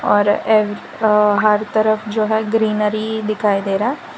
और ये अ हर तरफ जो है ग्रीनरी दिखाई दे रहा--